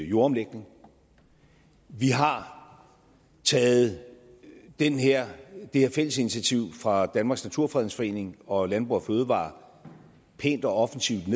jordomlægning vi har taget det her fælles initiativ fra danmarks naturfredningsforening og landbrug fødevarer pænt og offensivt